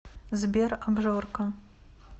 сбер абжорка